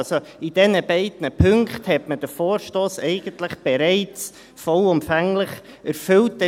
Also hat man den Vorstoss in diesen beiden Punkten eigentlich bereits vollumfänglich erfüllt.